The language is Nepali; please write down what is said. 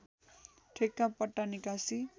ठेक्का पट्टा निकासी